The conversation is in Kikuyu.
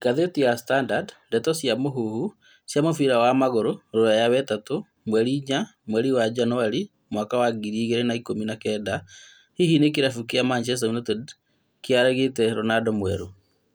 Ngathĩti ya Standard, ndeto cia mũhuhu cia mũbira wa magũrũ Rũraya wetatũ mweri inya mweri wa Januarĩ mwaka wa ngiri igĩrĩ ikũmi na kenda, hihi rĩ kĩrabu kĩa Man Utd nĩayagĩte "Ronaldo mwerũ?"